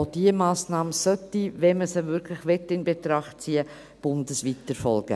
Auch diese Massnahme sollte, wenn man sie wirklich in Betracht ziehen wollte, bundesweit erfolgen.